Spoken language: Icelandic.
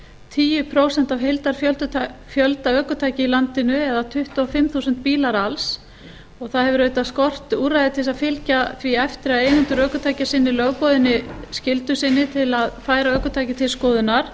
tíu prósent af heildarfjölda ökutækja í landinu eða tuttugu og fimm þúsund bílar alls um og það hefur auðvitað skort úrræði til þess að fylgja því eftir að eigendur ökutækja sinni lögboðinni skyldu sinni um að færa ökutæki til skoðunar